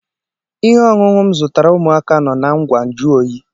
Ihe ọṅụṅụ m zụtara ụmụaka nọ na ngwá njụ̀ oyị